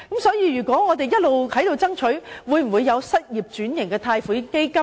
所以，我們一直爭取設立失業轉型貸款基金。